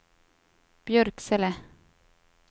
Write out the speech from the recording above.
Björksele